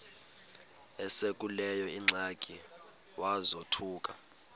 esekuleyo ingxaki wazothuka